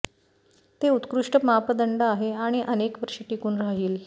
ते उत्कृष्ट मापदंड आहे आणि अनेक वर्षे टिकून राहील